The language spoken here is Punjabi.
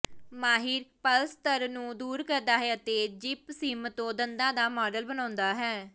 ਮਾਹਿਰ ਪਲੱਸਤਰ ਨੂੰ ਦੂਰ ਕਰਦਾ ਹੈ ਅਤੇ ਜਿਪਸੀਮ ਤੋਂ ਦੰਦਾਂ ਦਾ ਮਾਡਲ ਬਣਾਉਂਦਾ ਹੈ